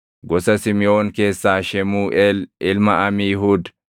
gosa Simiʼoon keessaa, Shemuuʼeel ilma Amiihuud;